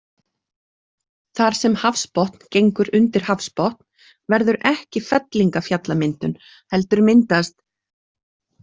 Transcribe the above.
Þar sem hafsbotn gengur undir hafsbotn verður ekki fellingafjallamyndun heldur myndast.